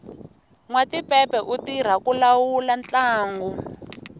nwatipepe u tirha ku lawula ntlangu